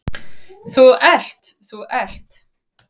Þú ert, þú ert.